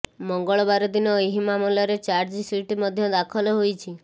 ମଙ୍ଗଳବାର ଦିନ ଏହି ମାମଲାରେ ଚାର୍ଜସିଟ ମଧ୍ୟ ଦାଖଲ ହୋଇଛି